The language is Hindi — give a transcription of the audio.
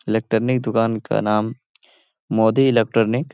इलेक्ट्रॉनिक दूकान का नाम मोदी इलेक्ट्रॉनिक --